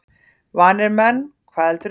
Vanir menn, hvað heldurðu!